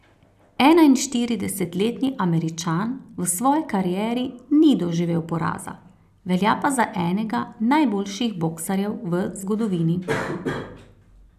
Enainštiridesetletni Američan v svoji karieri ni doživel poraza, velja pa za enega najboljših boksarjev v zgodovini.